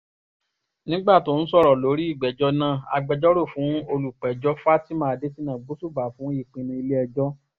nígbà tó ń sọ̀rọ̀ lórí ìgbèjọ náà agbẹjọ́rò fún olùpẹ̀jọ fatima adésínà gbósùbà fún ìpinnu ilé-ẹjọ́